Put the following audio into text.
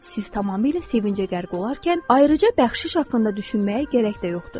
Siz tamamilə sevincə qərq olarkən, ayrıca bəxşiş haqqında düşünməyə gərək də yoxdur.